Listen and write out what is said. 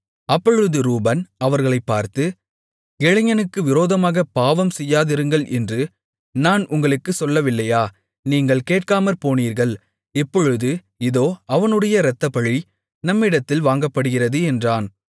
அப்பொழுது ரூபன் அவர்களைப் பார்த்து இளைஞனுக்கு விரோதமாகப் பாவம் செய்யாதிருங்கள் என்று நான் உங்களுக்குச் சொல்லவில்லையா நீங்கள் கேட்காமற்போனீர்கள் இப்பொழுது இதோ அவனுடைய இரத்தப்பழி நம்மிடத்தில் வாங்கப்படுகிறது என்றான்